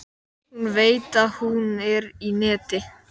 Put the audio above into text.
Hún veit að hún er í neti.